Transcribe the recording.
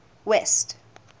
west